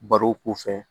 Barow k'u fɛ